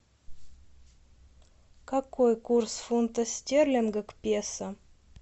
какой курс фунта стерлинга к песо